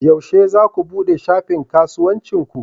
Yaushe za ku buɗe shafin kasuwancin ki?